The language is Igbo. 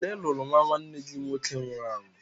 Onye lụrụ nnwa nwanne gị nwoke nwụrụ anwụ?